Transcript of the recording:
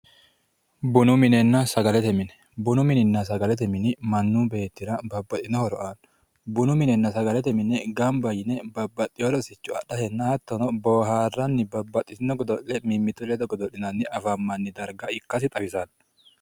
Bunu minenna sagalete mine, bunu mininna sagalete mini mannu beettira babbaxitino horo aano ,bununna sagalete mine gamba yinne babbaxeyo rosicho adhatenna hattono booharanni babbaxeyo godo'le mimmitu ledo godo'linanni afamanni darga ikkasi xawisano